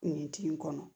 Kuntigi kɔnɔ